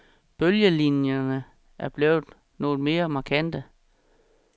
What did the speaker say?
Bølgelinjerne er blevet noget mere markante.